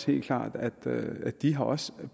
helt klart at de også